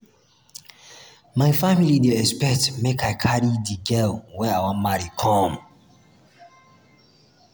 my family dey expect make i carry di girl wey i wan marry come.